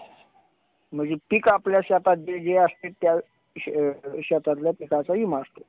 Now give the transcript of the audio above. नाही तर वनस्पती जळून जातात. किंवा योग्य येत नाही. त्यामुळे वनस्पती साठी पाण्याचे अनन्यसाधारण आहे. झाडे